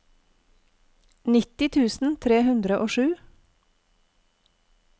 nitti tusen tre hundre og sju